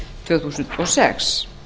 tvö þúsund og sex